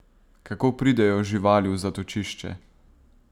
Kako pridejo živali v zatočišče?